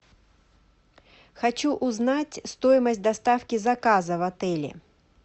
хочу узнать стоимость доставки заказа в отеле